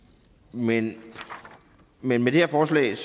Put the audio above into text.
men med det her forslag er